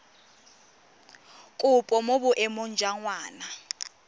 kopo mo boemong jwa ngwana